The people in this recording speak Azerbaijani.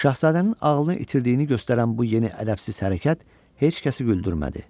Şahzadənin ağlını itirdiyini göstərən bu yeni ədəbsiz hərəkət heç kəsi güldürmədi.